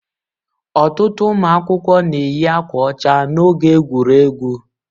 Ọtụtụ ụmụ akwụkwọ na-eyi akwa ọcha n'oge egwuregwu.